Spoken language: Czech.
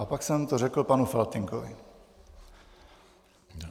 A pak jsem to řekl panu Faltýnkovi.